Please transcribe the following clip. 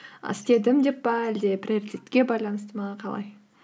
істедім деп пе әлде приоритетке байланысты ма қалай